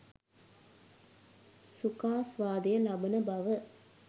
සුඛාස්වාදය ලබන බව